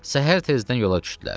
Səhər tezdən yola düşdülər.